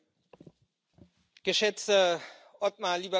Geschätzter Othmar, lieber Kollege Karas!